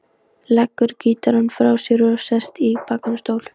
Leggur gítarinn frá sér og sest í bakháan stól.